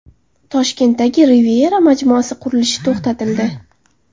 Toshkentdagi Riviera majmuasi qurilishi to‘xtatildi.